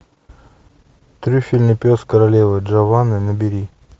трюфельный пес королевы джованны набери